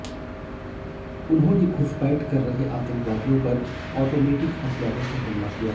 उन्होंने घुसपैठ कर रहे आतंकवादियों पर ऑटमेटिक हथियारों से हमला किया